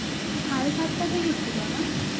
সাড়ে সাতটা থেকে ছিল না?